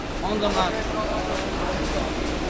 Onlar, onlar.